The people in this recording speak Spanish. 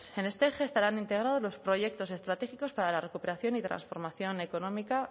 en este eje estarán integrados los proyectos estratégicos para la recuperación y transformación económica